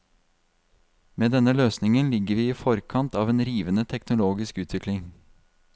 Med denne løsningen ligger vi i forkant av en rivende teknologisk utvikling.